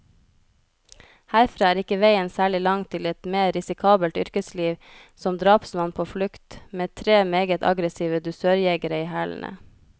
Herfra er ikke veien særlig lang til et mer risikabelt yrkesliv, som drapsmann på flukt, med tre meget aggressive dusørjegere i hælene.